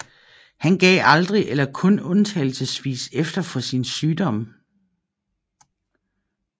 Han gav aldrig eller kun undtagelsesvis efter for sin sygdom